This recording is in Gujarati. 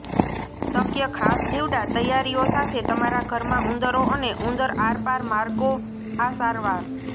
શક્ય ખાસ જીવડાં તૈયારીઓ સાથે તમારા ઘરમાં ઉંદરો અને ઉંદર આરપાર માર્ગો આ સારવાર